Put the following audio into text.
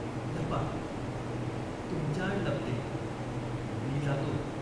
लपा." "तुमच्याआड लपते." "मी जातो.